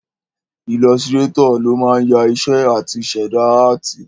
Ilọsirátọ̀ ló máa ń ya iṣẹ́ áàtì àti ṣẹ̀dá áàtì